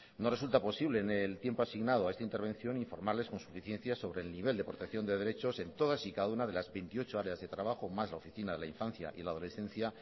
no resulta posible en el tiempo asignado a esta intervención informarles con suficiencia sobre el nivel de protección de derechos en todas y cada una de las veintiocho áreas de trabajo más la oficina de la infancia y la adolescencia